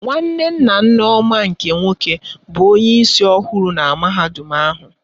Nwanne nna Nneoma nke nwoke bụ onyeisi ọhụrụ mahadum ahụ.